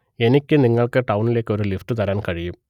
എനിക്ക് നിങ്ങൾക്ക് ടൌണിലേക്ക് ഒരു ലിഫ്റ്റ് തരാൻ കഴിയും